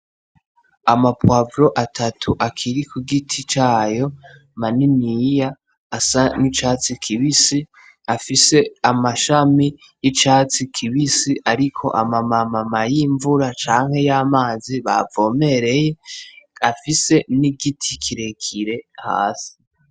Amapwavoro atatu akiri ku giti cayo maniniya asa n'icatsi kibisi afise amashami y'icatsi kibisi, ariko amamamama y'imvura canke y'amazi bavomereye afise n'igiti kirekire hasi.